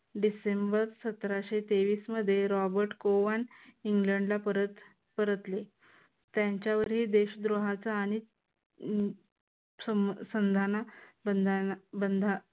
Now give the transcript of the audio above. डिसेंबर सतराशे तेवीस मध्ये रॉबर्ट कोवॉन इंग्लंडला परत परतले. त्यांच्यावरील देशद्रोहाचा आणि